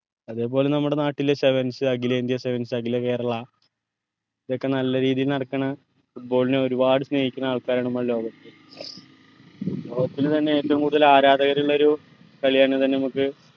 അത് പോലെ നമ്മടെ നാട്ടിൽ sevens അഗിലേന്ത്യാ sevens അഗില കേരള ഇതൊക്കെ നല്ല രീതിയിൽ നടക്കണ football നെ ഒരുപാട് സ്നേഹിക്കണ ആൾക്കാരാണ് നമ്മളെ ലോകത്തിൽ ലോകത്തിൽ തന്നെ ഏറ്റവു കൂടുതൽ ആരാധകരുള്ളൊരു കളിയാണ് തന്നെ നമുക്ക്